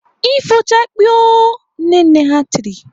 "Ifochakpiiiio" Nne nne ha tiri!